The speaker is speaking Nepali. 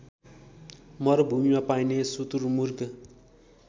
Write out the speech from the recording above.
मरुभूमिमा पाइने सुतुरमुर्ग